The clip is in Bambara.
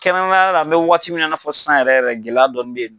Kɛnɛ yala mɛ waati min na i n'a fɔ sisan yɛrɛ yɛrɛ gɛlɛya dɔɔni bɛ ye.